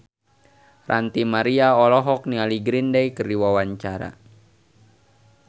Ranty Maria olohok ningali Green Day keur diwawancara